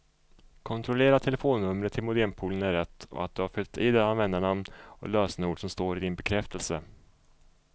Kontrollera att telefonnumret till modempoolen är rätt och att du har fyllt i det användarnamn och lösenord som står i din bekräftelse.